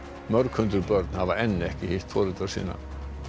mörg hundruð börn hafa enn ekki hitt foreldra sína